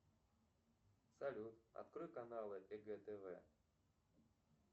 салют открой каналы егэ тв